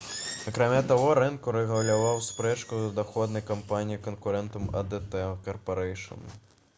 акрамя таго рынг урэгуляваў спрэчку з ахоўнай кампаніяй-канкурэнтам «адт карпарэйшн»